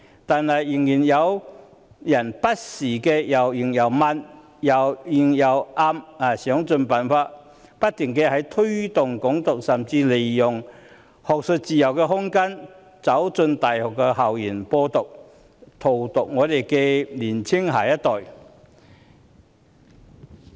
但是，仍然有人不時或明或暗地想盡辦法，不停推動"港獨"，甚至利用學術自由的空間，走進大學校園"播獨"，荼毒年青一代。